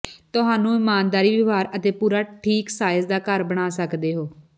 ਤੁਹਾਨੂੰ ਇਮਾਨਦਾਰੀ ਵਿਵਹਾਰ ਅਤੇ ਪੂਰਾ ਠੀਕ ਸਾਈਜ਼ ਦਾ ਘਰ ਬਣਾ ਸਕਦੇ ਹੋ